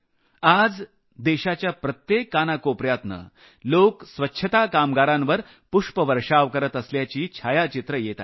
आज देशाच्या प्रत्येक कानाकोपऱ्यातून लोक स्वच्छता कामगारांवर पुष्पवर्षाव करत असल्याची छायाचित्रं येत आहेत